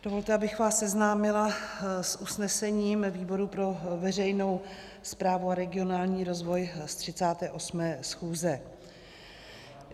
Dovolte, abych vás seznámila s usnesením výboru pro veřejnou správu a regionální rozvoj z 38. schůze.